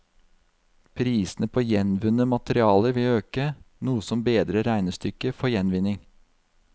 Prisene på gjenvunne materialer vil øke, noe som bedrer regnestykket for gjenvinning.